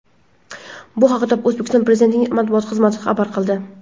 Bu haqda O‘zbekiston Prezidentining matbuot xizmati xabar qildi .